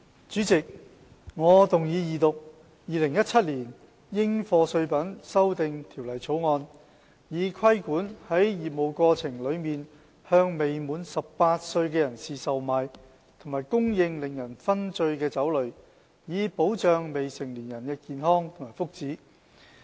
主席，我動議二讀《2017年應課稅品條例草案》，以規管在業務過程中向未滿18歲的人士售賣和供應令人醺醉的酒類，以保障未成年人的健康和福祉。